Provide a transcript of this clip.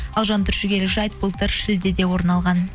ал жантүршігерлік жайт былтыр шілдеде орын алған